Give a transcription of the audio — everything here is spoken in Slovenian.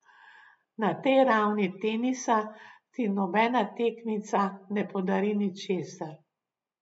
Na tej ravni tenisa ti nobena tekmica ne podari ničesar.